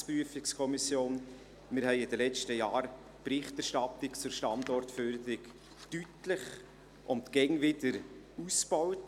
Wir haben in den letzten Jahren die Berichterstattung zur Standortförderung deutlich und immer wieder ausgebaut.